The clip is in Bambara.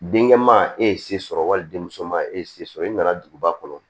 Denkɛ man e ye se sɔrɔ wali denmuso ma e ye se sɔrɔ i nana duguba kɔnɔ